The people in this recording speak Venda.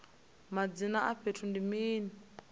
madzina a fhethu ndi mini